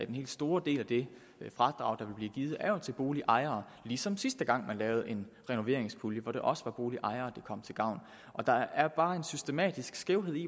den helt store del af det fradrag der vil blive givet går jo til boligejere ligesom sidste gang man lavede en renoveringspulje hvor det også var boligejere det kom til gavn og der er bare en systematisk skævhed i